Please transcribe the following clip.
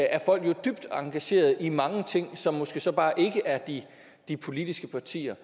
er folk dybt engageret i mange ting som måske så bare ikke er de de politiske partier